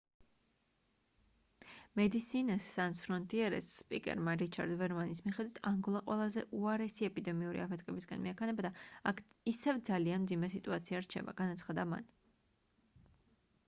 medecines sans frontiere-ის სპიკერმა რიჩარდ ვერმანის მიხედვით: ანგოლა ყველაზე უარესი ეპიდემიური აფეთქებისკენ მიექანება და აქ ისევ ძალიან მძიმე სიტუაცია რჩება — განაცხადა მან